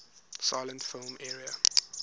silent film era